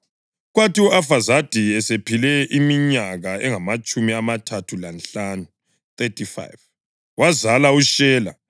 Kwathi u-Afazadi esephile iminyaka engamatshumi amathathu lanhlanu (35), wazala uShela.